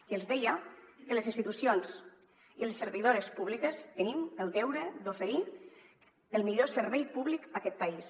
i els deia que les institucions i les servidores públiques tenim el deure d’oferir el millor servei públic a aquest país